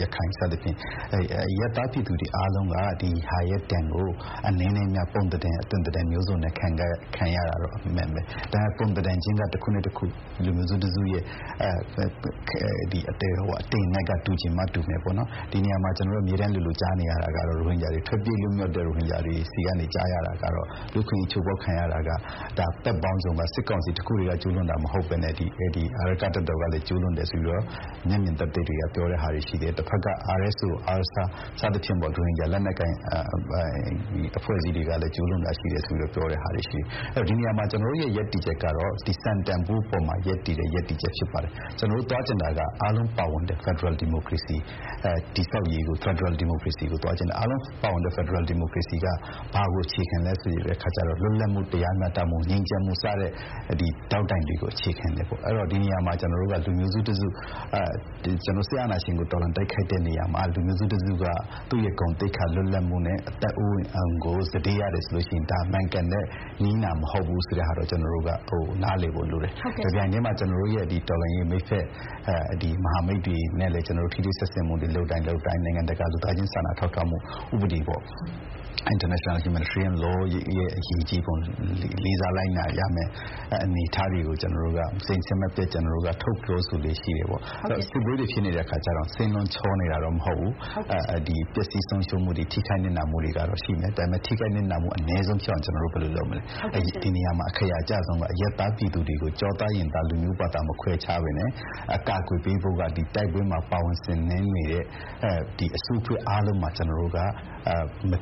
- ရခိုင်စသဖြင့် အရပ်သားပြည်သူတွေအားလုံးက ဒီဟာရဲ့ဒဏ်ကို အနည်းနဲ့အများ ပုံသဏ္ဍန် အသွင်သဏ္ဍန်မျိုးစုံနဲ့ခံရတာတော့ အမှန်ပဲ။ ဒါပေမဲ့ ပုံသဏ္ဍန်ချင်းက တခုနဲ့တခု လူမျိုးတစုနဲ့တစုရဲ့ အတိမ်အနက်က တူချင်မှတူမယ်ပေါ့နော်။ ဒီနေရာမှာ ကျနော်တို့ အမြဲတမ်းလိုလို ကြားနေရတာကတော့ ထွက်ပြေးလွတ်မြောက်တဲ့ရိုဟင်ဂျာတွေဆီကနေ ကြားရတာကတော့ လူ့အခွင့်အရေး ချိုးဖောက်ခံရတာက - တပ်ပေါင်းစုံက - စစ်ကောင်စီတခုတည်းကကျူးလွန်တာမဟုတ်ဘဲနဲ့ အာရက္ခတပ်တော်ကလည်း ကျူးလွန်တယ်ဆိုပြီးတော့ မျက်မြင်သက်သေတွေက ပြောတဲ့ဟာတွေရှိတယ်၊ တဘက်က RSO, ARSA စသဖြင့် ရိုဟင်ဂျာလက်နက်ကိုင်အဖွဲ့အစည်းတွေကလည်း ကျူးလွန်တာရှိတယ်ဆိုပြီးတော့ ပြောတဲ့ဟာတွေရှိတယ်။ ဒီနေရာမှာ ကျနော်တို့ရဲ့ရပ်တည်ချက်ကတော့ ဒီ စံတန်ဖိုးအပေါ်မှာရပ်တည်တဲ့ ရပ်တည်ချက်ဖြစ်ပါတယ်။ ကျနော်တို့သွားချင်တာက အားလုံးပါဝင်တဲ့ ဖက်ဒရယ်ဒီမိုကရေစီတည်ဆောက်ရေးကို၊ ဖက်ဒရယ်ဒီမိုကရေစီကို သွားချင်တာ။ အားလုံးပါဝင်တဲ့ဖက်ဒရယ်ဒီမိုကရေစီက ဘာကိုအခြေခံလဲဆိုတဲ့အခါကျတော့ လွတ်လပ်မှု၊ တရားမျှတမှု၊ ငြိမ်းချမ်းမှု စတဲ့ ဒေါက်တိုင်တွေကိုအခြေခံတယ်ပေါ့၊ အဲဒီတော့ ဒီနေရာမှာ ကျနော်တို့က လူမျိုးစုတစုက စစ်အာဏာရှင်ကို တော်လှန်တိုက်ခိုက်တဲ့နေရာမှာ လူမျိုးစုတစုက သူ့ရဲ့ဂုဏ်သိက္ခာ၊ လွတ်လပ်မှုနဲ့အသက်အိုးအိမ်ကို စတေးရတယ်ဆိုရင် ဒါမှန်ကန်တဲ့နည်းနာမဟုတ်ဘူးဆိုတာကို ကျနော်တို့ နားလည်ဖို့လိုတယ်။ တပြိုင်တည်းမှာ ကျနော်တို့ရဲ့တော်လှန်ရေးမိတ်ဖက် မဟာမိတ်တွေနဲ့လည်း ထိတွေ့ဆက်ဆံမှုတွေ လုပ်တိုင်း လုပ်တိုင်း၊ နိုင်ငံတကာ လူသားချင်းစာနာထောက်ထားမှု ဥပဒေပေါ့- international humanitarian law ရဲ့အရေးကြီးပုံ၊ လေးစားလိုက်နာရမယ့် အနေအထားတွေကို ကျနော်တို့က စဥ်ဆက်မပြတ် ထုတ်ပြောဆိုလေ့ရှိတယ်ပေါ့။ စစ်ပွဲတွေဖြစ်နေတဲ့အခါကျတော့ စင်းလုံးချောနေတာတော့ မဟုတ်ဘူး၊ ပျက်စီးဆုံးရှုံးမှုတွေ၊ ထိခိုက်နစ်နာမှုတွေကတော့ ရှိနေတယ်။ ဒါပေမဲ့ ထိခိုက်နစ်နာမှုအနည်းဆုံးဖြစ်အောင် ဘယ်လိုလုပ်မလဲ၊ ဒီနေရာမှာ အခရာအကျဆုံးက အရပ်သားပြည်သူတွေကို ကျောသားရင်သား လူမျိုးဘာသာမခွဲခြားဘဲနဲ့အကာအကွယ်ပေးဖို့က တိုက်ပွဲမှာ ပါဝင်ဆင်နွဲနေတဲ့ အစုအဖွဲ့အားလုံးမှာ မ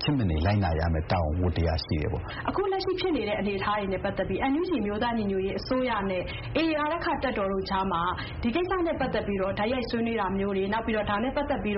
ဖြစ်မနေ လိုက်နာရမယ့် တာဝန်ဝတ္တရားရှိတယ်ပေါ့။” ဆုမွန်။ ။ အခု လက်ရှိဖြစ်နေတဲ့အနေအထားတွေနဲ့ပတ်သက်ပြီး NUG အမျိုးသားညီညွတ်ရေးအစိုးရနဲ့ AA အာရက္ခတပ်တို့ကြားမှာ ဒီကိစ္စနဲ့ပတ်သက်ပြီးတော့ တိုက်ရိုက်ဆွေးနွေးတာမျိုးတွေ၊ နောက်ပြီးတော့ ဒါ နဲ့ပတ်သက်ပြီး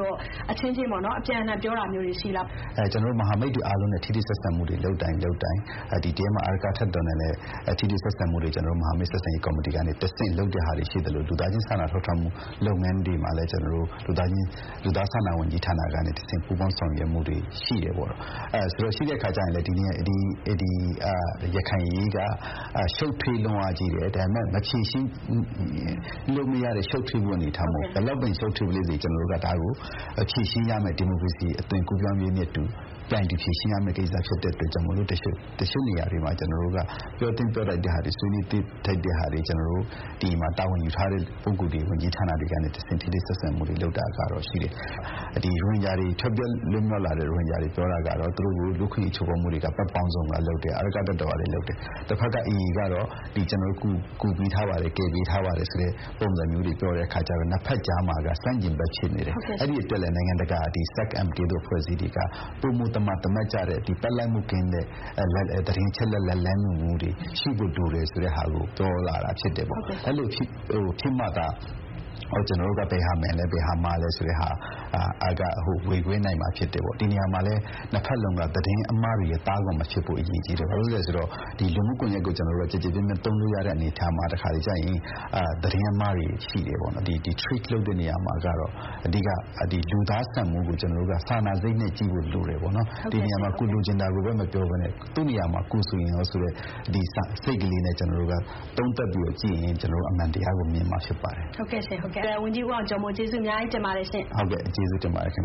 အချင်းချင်း အပြန်အလှန် ပြောတာမျိုးတွေ ရှိလား။ ဦးအောင်ကျော်မိုး။ ။ ကျနော်တို့ မဟာမိတ်တွေအားလုံးနဲ့ ထိတွေ့ဆက်ဆံမှုတွေ လုပ်တိုင်းလုပ်တိုင်း ဒီထဲမှာ အာရက္ခတပ်တော်နဲ့လည်း ထိတွေ့ဆက်ဆံမှုတွေ မဟာမိတ်ဆက်ဆံရေးကော်မတီကနေတဆင့် လုပ်တဲ့ဟာတွေရှိသလို လူသားချင်းစာနာထောက်ထားမှု လုပ်ငန်းတွေမှာလည်း ကျနော်တို့ လူသားစာနာမှု ဝန်ကြီးဌာနကနေ ပူးပေါင်းဆောင်ရွက်မှုတွေ ရှိတယ်ပေါ့။ ရှိတဲ့အခါကျရင် ဒီ ရခိုင်အရေးက ရှုပ်ထွေးလွန်းအားကြီးတယ်၊ ဒါပေမဲ့ဘယ်လောက်ပင် ရှုပ်ထွေးပလေစေ၊ ဒါကို ကျနော်တို့က ဒီမိုကရေစီအသွင်ကူးပြောင်းရေးနဲ့အတူ ပြိုင်တူဖြေရှင်းရမယ့်ကိစ္စ ဖြစ်တာကြောင့်မို့လို့ ကျနော်တို့က တချို့နေရာတွေမှာ ပြောသင့်ပြောထိုက်တဲ့ဟာတွေ၊ ဆွေးနွေးသင့် ဆွေးနွေးထိုက်တဲ့ဟာတွေကို ကျနော်တို့ ဒီမှာ တာဝန်ယူထားတဲ့ ဝန်ကြီးဌာနက ပုဂ္ဂိုလ်တွေကနေတဆင့် ထိတွေ့ဆက်ဆံမှုတွေလုပ်တာကတော့ ရှိတယ်။ ထွက်ပြေးလွတ်မြောက်လာတဲ့ရိုဟင်ဂျာတွေ ပြောတာက သူတို့ကို လူ့အခွင့်အရေး ချိုးဖောက်မှုတွေက ဘက်ပေါင်းစုံကလုပ်တယ်။ အာရက္ခတပ်တော်ကလည်း လုပ်တယ်။ တဘက်က AA ကတော့ ‘ကျနော်တို့ ကူပေးထားပါတယ်၊ ကယ်ပေးထားပါတဘ်’ ဆိုတဲ့ပုံစံမျိုးတွေ ပြောတဲ့အခါကျတော့ နှစ်ဘက်ကြားမှာက ဆန့်ကျင်ဘက် ဖြစ်နေတယ်၊ အဲဒီအတွက်လည်း နိုင်ငံတကာ အဖွဲ့အစည်းတွေက ပိုမိုသမာသမတ်ကျတဲ့၊ ဘက်လိုက်မှုကင်းတဲ့ သတင်းအချက်အလက်၊ လမ်းညွှန်မှုတွေ ရှိဖို့လိုတယ်ဆိုတဲ့ဟာကို ပြောလာတာဖြစ်တယ်ပေါ့။ အဲလို ဖြစ်မှသာ ကျနော်တို့က ဘယ်ဟာမှန်လဲ၊ ဘယ်ဟာမှားလဲဆိုတာ ဝေခွဲနိုင်မှာဖြစ်တယ်ပေါ့။ ဒီ နေရာမှာလည်း နှစ်ဘက်လုံးက သတင်းအမှားတွေရဲ့သားကောင်မဖြစ်ဖို့ အရေးကြီးတယ်။ ဘာဖြစ်လို့လဲဆို လူမှုကွန်ရက်ကို ကျနော်တို့က ကျယ်ကျယ်ပြန့်ပြန့်သုံးလို့ရတဲ့အနေအထားမှာ တခါတလေကျရင် သတင်းအမှားတွေရှိတယ်ပေါ့။ ဒီ treat လုပ်တဲ့အခါမှာကတော့ အဓိက လူသားဆန်မှုကို ကျနော်တို့က စာနာစိတ်နဲ့ကြည့်ဖို့ လိုတယ်ပေါ့နော်။ ဒီနေရာမှာ ကိုယ်လိုချင်တာကိုပဲ မပြောဘဲနဲ့ သူ့နေရာမှာ ကိုယ်ဆိုရင်ရော ဆိုတဲ့ စိတ်ကလေးနဲ့ ကျနော်တို့က သုံးသပ်ပြီးတော့ကြည့်ရင် ကျနော်တို့ အမှန်တရားကို မြင်မှာ ဖြစ်ပါတယ်။ ဆုမွန်။ ။ ဟုတ်ကဲ့ရှင့်၊ ဟုတ်ကဲ့။ ဝန်ကြီး ဦးအောင်ကျော်မိုး ကျေးဇူးအများကြီးတင်ပါတယ်။ ဦးအောင်ကျော်မိုး။ ။ ဟုတ်ကဲ့၊ ကျေးဇူးတင်ပါတယ်ခင်